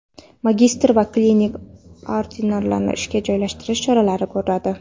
magistr va klinik ordinatorlarni ishga joylashtirish choralarini ko‘radi.